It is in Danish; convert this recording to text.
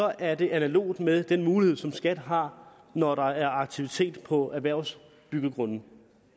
er det analogt med den mulighed som skat har når der er aktivitet på erhvervsbyggegrunde